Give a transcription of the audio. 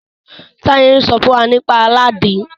Taye n sọ fún wá nípa Aladin.